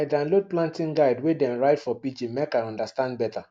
i download planting guide wey dem write for pidgin make i understand better